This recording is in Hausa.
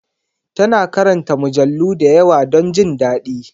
Ta na karanta mujallu da yawa don jin daɗi